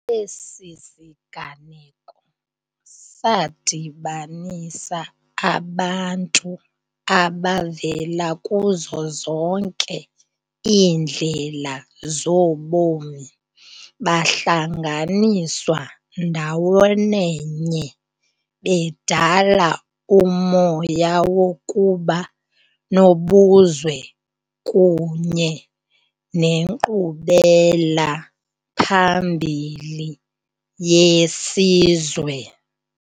Esi siganeko sadibanisa abantu abavela kuzo zonke iindlela zobomi bahlanganiswa ndawonenye bedala umoya wokuba nobuzwe kunye nenkqubelaphambili yesizwe.